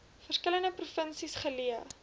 verskillende provinsies geleë